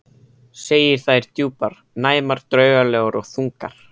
Segir þær djúpar, næmar, draugalegar og þungar.